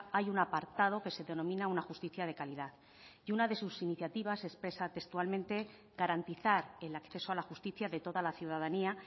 hay un apartado que se denomina una justicia de calidad y una de sus iniciativas expresa textualmente garantizar el acceso a la justicia de toda la ciudadanía